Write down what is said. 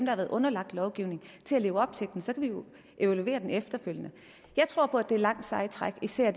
har været underlagt lovgivningen til at leve op til den så kan vi jo evaluere den efterfølgende jeg tror på at det er et langt sejt træk især